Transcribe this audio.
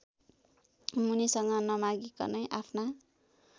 मुनिसँग नमागिकनै आफ्ना